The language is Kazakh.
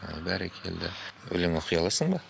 ой бәрекелді өлең оқи аласың ба